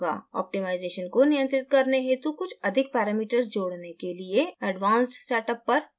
optimisation को नियंत्रित करने हेतु कुछ अधिक parameters जोड़ने के लिए advanced setup पर click करें